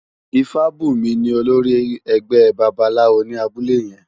Ifabunmi ni ólórì ègbè bàbáláwó ni àbúlé yèn